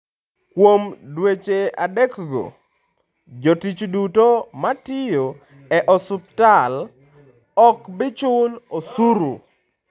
Kuom dweche adekgo, jotich duto matiyo e osiptal ok bi chulo osuru.